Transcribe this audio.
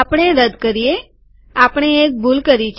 આપણે રદ કરીએ આપણે એક ભૂલ કરી છે